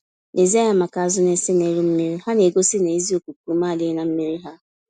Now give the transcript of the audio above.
Lezie anya maka azụ na-ese n'elu mmiri - ha na-egosi na ezi okuku-ume adịghị na mmírí ha